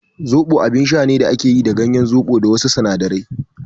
soɓo abin sha ne da ake yi da ganyen zoɓo da wasu sinadarai.